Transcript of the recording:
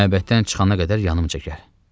Məbəddən çıxana qədər yanımca gəl.